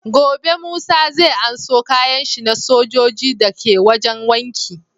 Gobe musa zai anso kayan shi na sojoji da ka wajan wanki